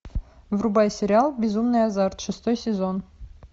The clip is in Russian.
врубай сериал безумный азарт шестой сезон